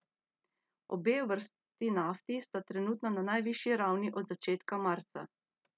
Obe vrsti nafti sta trenutno na najvišji ravni od začetka marca.